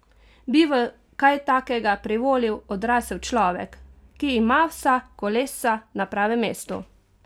Bi v kaj takega privolil odrasel človek, ki ima vsa kolesca na pravem mestu?